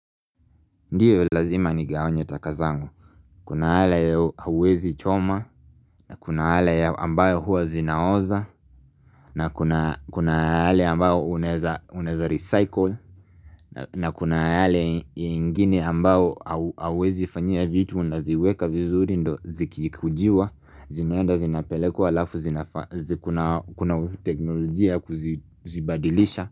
Ndiyo lazima ni gawanye taka zangu Kuna yale ya hauwezi choma Kuna yale ya ambayo huwa zinaoza na kuna yale ambayo unaeza recycle na kuna yale ya ingine ambayo hauwezi fanyia vitu unaziweka vizuri ndo zikijikujiwa zinaenda zinapelekwa alafu kuna teknolojia ya kuzibadilisha.